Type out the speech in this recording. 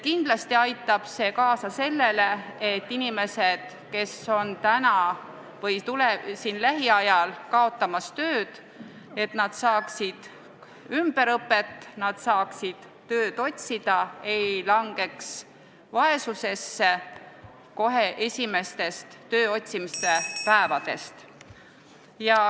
Kindlasti aitab see kaasa sellele, et inimesed, kes on praegu töötud või kaotavad töö lähiajal, saaksid ümberõpet, et nad saaksid tööd otsida, ei langeks vaesusesse kohe esimestest tööotsimise päevadest.